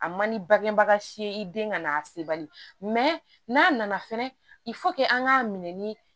A man ni bangebaga si ye i den ka na se bali n'a nana fɛnɛ i an k'a minɛ ni